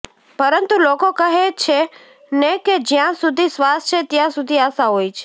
પરંતુ લોકો કહે છે ને કે જ્યાં સુધી શ્વાસ છે ત્યાં સુધી આશા હોય છે